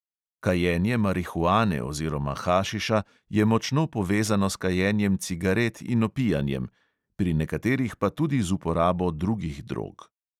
Kajenje marihuane oziroma hašiša je močno povezano s kajenjem cigaret in opijanjem, pri nekaterih pa tudi z uporabo drugih drog.